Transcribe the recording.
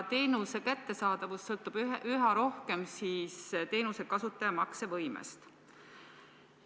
Teenuse kättesaadavus sõltub üha rohkem teenuse kasutaja maksevõimest.